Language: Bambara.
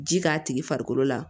Ji k'a tigi farikolo la